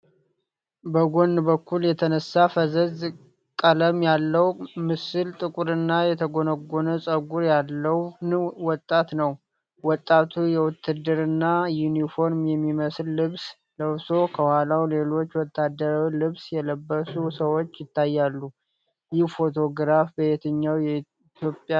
በጎን በኩል የተነሳው ፈዛዛ ቀለም ያለው ምስል ጥቁርና የተጎነጎነ ፀጉር ያለውን ወጣት ነው። ወጣቱ የውትድርና ዩኒፎርም የሚመስል ልብስ ለብሶ፣ ከኋላው ሌሎች ወታደራዊ ልብስ የለበሱ ሰዎች ይታያሉ። ይህ ፎቶግራፍ በየትኛው የኢትዮጵያ ታሪክ ዘመን የተነሳ ሊሆን ይችላል?